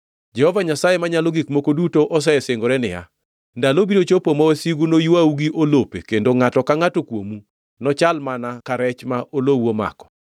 Jehova Nyasaye Manyalo Gik Moko Duto osesingore niya, “Ndalo biro chopo ma wasigu noywau gi olope kendo ngʼato ka ngʼato kuomu, nochal mana ka rech ma olowu omako.